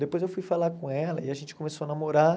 Depois eu fui falar com ela e a gente começou a namorar.